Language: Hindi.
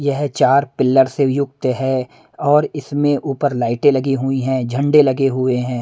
यह चार पिलर से युक्त है और इसमें ऊपर लाइटें लगी हुई हैं झंडे लगे हुए हैं।